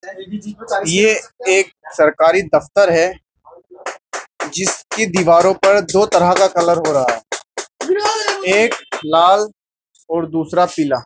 ये एक सरकारी दफ्तर है जिसकी दीवारों पर दो तरह का कलर हो रहा है एक लाल और दूसरा पीला. --